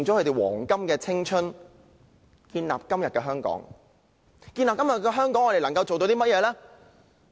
他們建立了今時今日的香港，而我們能夠為他們做甚麼呢？